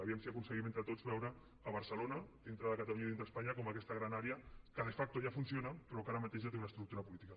a veure si aconseguim entre tots veure barcelona dintre de catalunya i dintre d’espanya com aquesta gran àrea que de facto ja funciona però que ara mateix ja té una estructura política